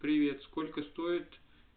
привет сколько стоит